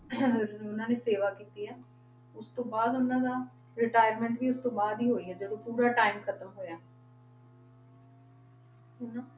ਉਹਨਾਂ ਨੇ ਸੇਵਾ ਕੀਤੀ ਹੈ, ਉਸ ਤੋਂ ਬਾਅਦ ਉਹਨਾਂ ਦਾ retirement ਵੀ ਉਸ ਤੋਂ ਬਾਅਦ ਹੀ ਹੋਈ ਹੈ ਜਦੋਂ ਪੂਰਾ time ਖ਼ਤਮ ਹੋਇਆ ਹਨਾ।